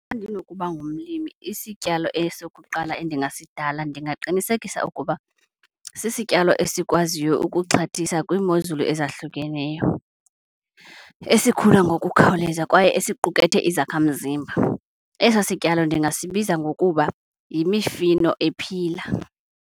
Xa ndinokuba ngumlimi isityalo esokuqala endingasidala ndingaqinisekisa ukuba sisityalo esikwaziyo ukuxhathisa kwiimozulu ezahlukeneyo, esikhula ngokukhawuleza kwaye esiqukethe izakhamzimba. Eso sityalo ndingasibiza ngokuba yimifino ephila.